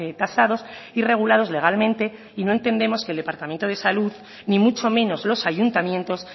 tasados y regulados legalmente y no entendemos que el departamento de salud ni mucho menos los ayuntamientos